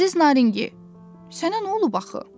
Əziz Naringi, sənə nə olub axı?